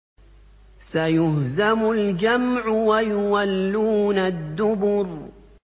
سَيُهْزَمُ الْجَمْعُ وَيُوَلُّونَ الدُّبُرَ